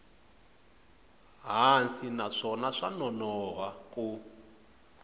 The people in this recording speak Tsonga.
hansi naswona swa nonoha ku